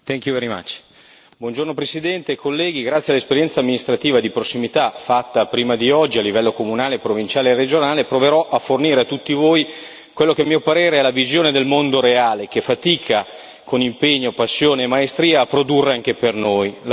Signor Presidente, onorevoli colleghi, grazie all'esperienza amministrativa di prossimità fatta prima di oggi a livello comunale, provinciale e regionale proverò a fornire a tutti voi quella che a mio parere è la visione del mondo reale che fatica, con impegno, passione e maestria, a produrre anche per noi.